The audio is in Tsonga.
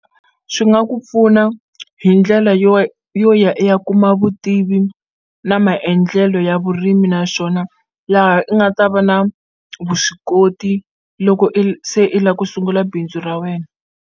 Swi nga ku pfuna hi ndlela yo ya i ya kuma vutivi na maendlelo ya vurimi naswona laha i nga ta va na vuswikoti loko i se la ku sungula bindzu ra wena.